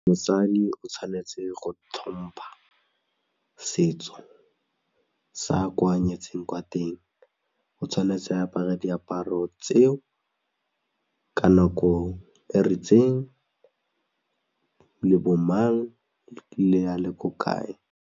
Mosadi o tshwanetse go tlhompha setso sa kwa a nyetseng kwa teng o tshwanetse a apare diaparo tseo ka nako e ritseng le bo mang le a le ko kae.